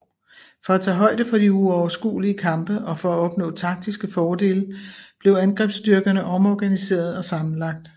For at tage højde for de uoverskuelige kampe og for at opnå taktiske fordele blev angrebsstyrkerne omorganiseret og sammenlagt